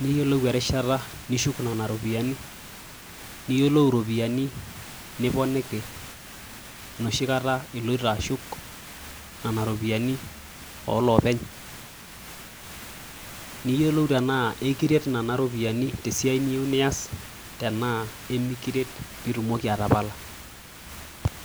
niyiolou erishata nishuku nena ropiyiani , niyiolou iropiyiani niponiki enoshi kata , iloito ashuk nena ropiyiani oloopeny . Niyiolou tenaa ekiret nena ropiyiani te siai niyieu nias tenaa emikiret pitumoki atapala.